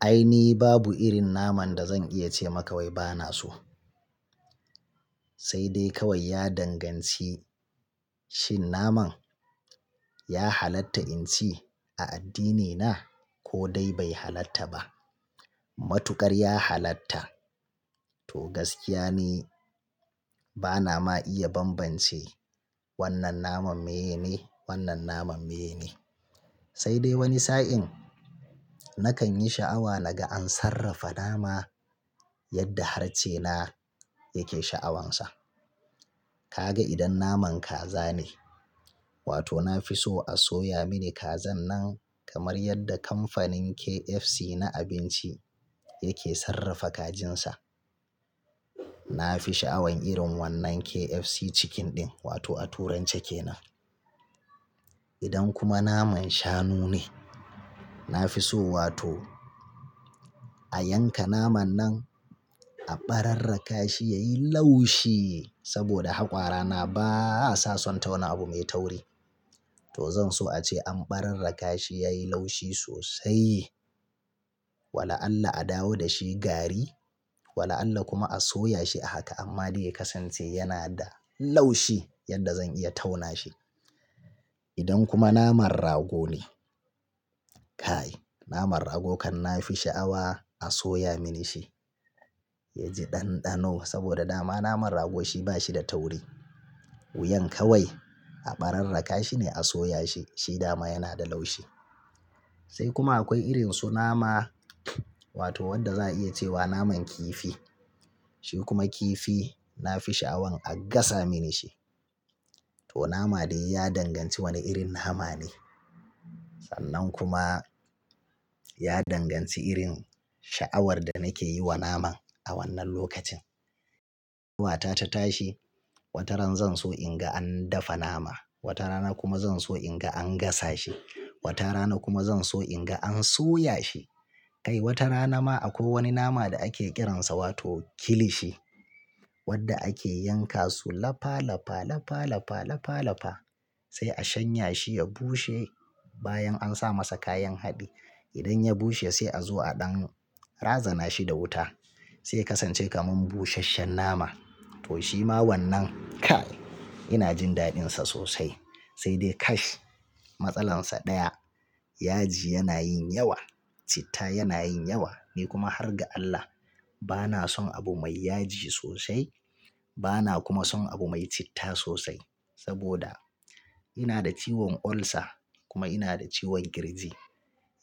Ai ni babu irin naman da zan iya ce maka wai bana so. Sai dai kawai ya danganci shin naman ya halatta in ci a addinina ko dai bai halatta ba. Matukar ya halatta to gaskiya ni bana ma iya bambance wannan naman meye ne, wannan naman meye ne. Sai dai wani sa'in nakan yi sha'awa naga an sarrafa nama yadda harcena yake sha'awansa. Ka ga idan naman kaza ne, wato na fi so a soya mini kazan nan kamar yadda kamfanin KFC na abinci yake sarrafa kajinsa. Na fi sha'awan irin wannan KFC Chicken din wato a turance kenan. Idan kuma naman shanu ne, na fi so wato a yanka naman nan a ɓararraka shi ya yi laushi saboda haƙwarana basa son tauna abu mai tauri. To zan so ace an ɓararra kashi yayi laushi sosai. Wala Allah a dawo da shi gari, wala Allah kuma a soya shi a haka amma dai ya kasance yana da laushi yadda zan iya tauna shi. Idan kuma naman rago ne, kai naman rago kan na fi sha'awa a soya mini shi ya ji ɗanɗano saboda dama naman rago shi bashi da tauri. Wuyan kawai a ɓararra kashi ne a soya shi, shi dama yana da laushi. Sai kuma akwai irin su nama wato wanda za a iya cewa naman kifi. Shi kuma kifi na fi sha'awan a gasa mini shi. To nama dai ya danganci wani irin nama ne. Sannan kuma ya danganci irin sha'awar da nake yi wa naman a wannan lokacin. Wata ta tashi wata ran zan so in ga an dafa nama, wata rana kuma zan so in ga an gasa shi, wata rana kuma zan so in ga an soya shi. Kai wata rana ma akwai wani nama da ake kiransa wato kilishi wadda ake yanka su lafa lafa lafa lafa lafa lafa sai a shanya shi ya bushe bayan an sa masa kayan haɗi. Idan ya bushe sai a zo a ɗan razana shi da wuta sai ya kasance kamar busasshen nama. To shi ma wannan kai ina jin daɗinsa sosai. Saidai, kash! Matsalansa ɗaya, yaji yana yin yawa, citta yana yin yawa. Ni kuma har ga Allah bana son abu mai yaji sosai bana kuma son abu mai citta sosai saboda ina da ciwon ulcer kuma ina da ciwon kirji.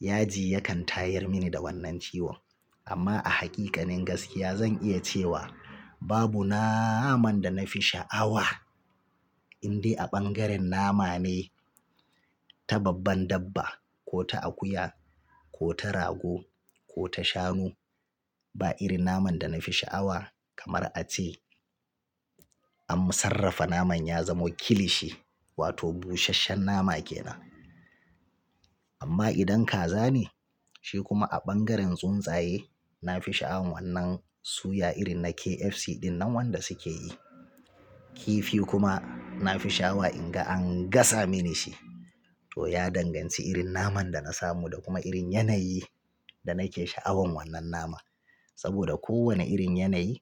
Yaji ya kan tayar mini da wannan ciwon. Amma a haƙiƙanin gaskiya zan iya cewa babu naman da na fi sha'awa indai a ɓangaren nama ne ta babban dabba ko ta akuya ko ta rago ko ta shanu. Ba irin naman da na fi sha'awa kamar a ce, an sarrafa naman ya zamo kilishi wato busasshen nama kenan. Amma idan kaza ne shi kuma a ɓangaren tsuntsaye na fi sha'awan wannan suya irin na KFC din nan wanda suke yi. Kifi kuma na fi sha'awa in ga an gasa mini shi. To ya danganci irin naman da na samu da kuma irin yanayi da nake sha'awan wannan naman. Saboda kowane irin yanayi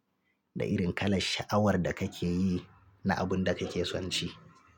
da irin kalar sha'awar da kake yi na abun da kake son ci.